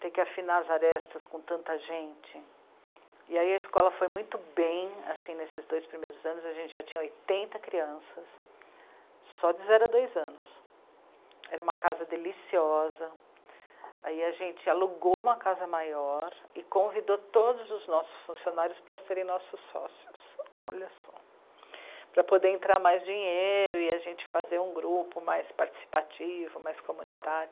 ter que afinar as arestas com tanta gente e aí a escola foi muito bem, assim, nesses dois primeiros anos, a gente já tinha oitenta crianças só de zero a dois anos, era uma casa deliciosa, aí a gente alugou uma casa maior e convidou todos os nossos funcionários para serem nossos sócios, olha só, para poder entrar mais dinheiro e a gente fazer um grupo mais participativo, mais comunitário